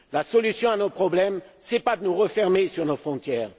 La solution à nos problèmes, ce n'est pas de nous refermer sur nos frontières.